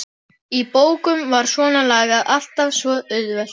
Í bókum var svonalagað alltaf svo auðvelt.